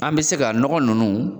An be se ka nɔgɔ nunnu